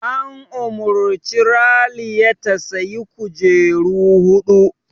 An umarci Raliya ta "Sayi kujeru huɗu!''